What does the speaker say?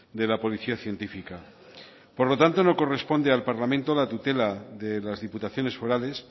de la policía científica por lo tanto no corresponde al parlamento la tutela de las diputaciones forales